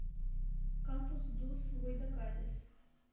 кампус дус гойтаказис